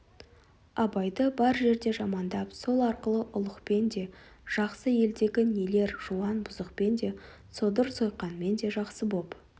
абайды бар жерде жамандап сол арқылы ұлықпен де жақсы елдегі нелер жуан бұзықпен де содыр-сойқанмен де жақсы боп